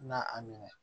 Na a minɛ